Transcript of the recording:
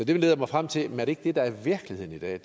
det leder mig frem til jamen er det ikke det der er virkeligheden i dag